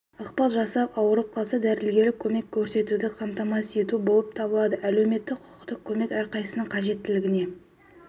ықпал жасап ауырып қалса дәрігерлік көмек көрсетуді қамтамасыз ету болып табылады әлеуметтік-құқықтық көмек әрқайсысының қажеттілігіне